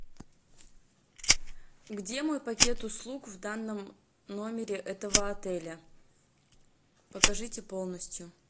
где мой пакет услуг в данном номере этого отеля покажите полностью